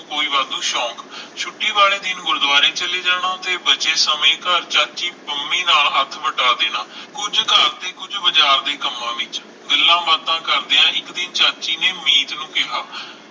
ਕੋਈ ਵਾਧੂ ਸ਼ੋਂਕ ਛੁੱਟੀ ਵਾਲੇ ਦਿਨ ਗੁਰੁਦੁਵਾਰੇ ਚਲੇ ਜਾਣਾ ਤੇ ਬਚੇ ਸਮੇ ਘਰ ਚਾਚੀ ਪੰਮੀ ਨਾਲ ਹੱਥ ਵਟਾ ਦੇਣਾ ਕੁਝ ਘਰ ਦੇ ਕੁਝ ਬਾਜ਼ਾਰ ਦੇ ਕੰਮਾਂ ਵਿਚ ਗੱਲਾਂ ਬਾਤਾਂ ਕਰਦਿਆਂ ਇਕ ਦਿਨ ਚਾਚੀ ਨੇ ਮੀਤ ਨੂੰ ਕਿਹਾ